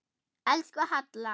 Elsku Halla.